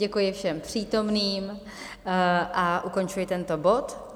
Děkuji všem přítomným a ukončuji tento bod.